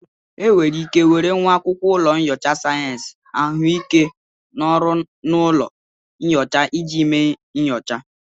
Enwere ike were nwa akwụkwọ ụlọ nyocha sayensị ahụike n'ọrụ n'ụlọ nyocha iji mee nyocha